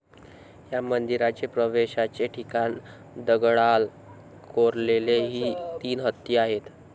या मंदिराचे प्रवेशाचे ठिकाणी दगडाल कोरलेले तीन हत्ती आहेत.